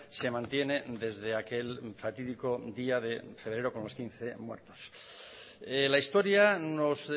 se mantiene desde aquel fatídico día de febrero con los quince muertos la historia nos